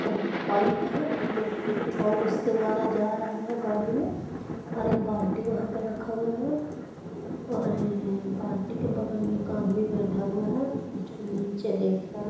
और एक पाइप है जो पेट्रोल उसके द्वारा जा रहा है गाड़ी में और एक बाल्टी वहां पर रखा हुआ है और बाल्टी के बगल में एक आदमी बैठा हुआ है जो निचे देख रहा है।